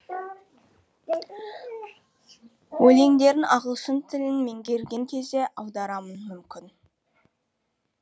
өлеңдерін ағылшын тілін меңгерген кезде аударармын мүмкін